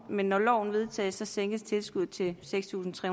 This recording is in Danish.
men når loven vedtages sænkes tilskuddet til seks tusind tre